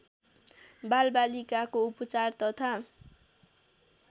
बालबालिकाको उपचार तथा